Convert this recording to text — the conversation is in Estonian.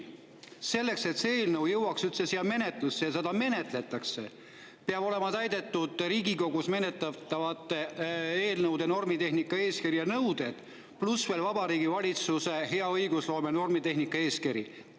Selleks, et see eelnõu jõuaks üldse siia menetlusse ja seda menetletakse, peavad olema täidetud Riigikogus menetletavate eelnõude normitehnika eeskirja nõuded pluss veel Vabariigi Valitsuse hea õigusloome normitehnika eeskiri.